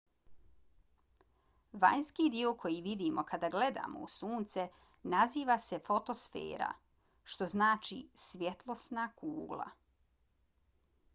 vanjski dio koji vidimo kada gledamo u sunce naziva se fotosfera što znači svjetlosna kugla